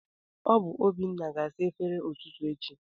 Ọ bụ Obinna ga-asa efere ụtụtụ echi